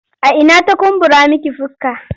A ina ta kumbura miki fuska?